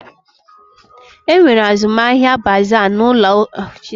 E nwere azụmahịa baaza n'ụlọụka Metodis n'Amakọhia ugbu a.